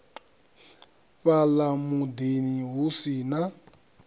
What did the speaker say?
fhala mudini hu si na